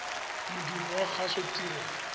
modumo wa kgaso ditirelo